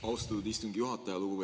Austatud istungi juhataja!